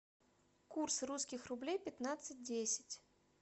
курс русских рублей пятнадцать десять